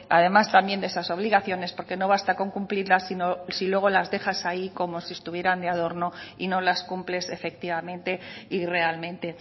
además también de esas obligaciones porque no basta con cumplirlas si luego las dejas ahí como si estuvieran de adorno y no las cumples efectivamente y realmente